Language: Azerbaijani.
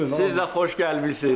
Siz də xoş gəlmisiniz.